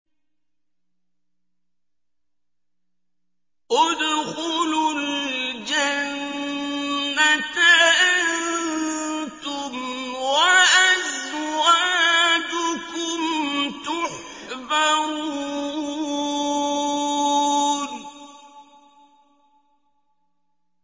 ادْخُلُوا الْجَنَّةَ أَنتُمْ وَأَزْوَاجُكُمْ تُحْبَرُونَ